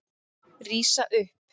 Rísa upp.